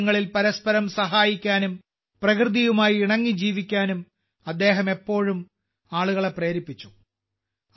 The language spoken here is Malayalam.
ആവശ്യങ്ങളിൽ പരസ്പരം സഹായിക്കാനും പ്രകൃതിയുമായി ഇണങ്ങി ജീവിക്കാനും അദ്ദേഹം എപ്പോഴും ആളുകളെ പ്രേരിപ്പിച്ചു